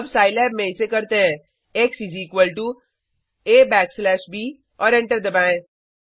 अब साईलैब में इसे करते हैं x is equal to a backslash b और एंटर दबाएँ